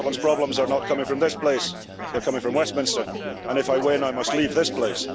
Scotland's problems are not coming from this place, they're coming from Westminster and if I win, I must leave this place.